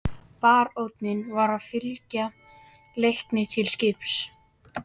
Baróninn var að fylgja Leikni til skips.